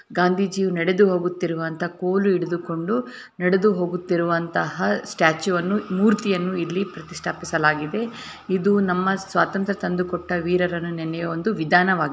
ಗಾಂಧೀಜಿ ನಡೆದು ಹೋಗುತ್ತಿರುವಂತ ಕೋಲು ಹಿಡಿದುಕೊಂಡು ನಡೆದು ಹೋಗುತ್ತಿರುವಂತಹ ಸ್ಟ್ಯಾಚು ಅನ್ನು ಮೂರ್ತಿಯನ್ನು ಇಲ್ಲಿ ಪ್ರತಿಷ್ಠಾಪಿಸಲಾಗಿದೆ ಇದು ನಮ್ಮ ಸ್ವಾತಂತ್ರ ತಂದು ಕೊಟ್ಟ ವೀರರನ್ನು ನೆನೆಯುವ ಒಂದು ವಿಧಾನವಾಗಿದೆ.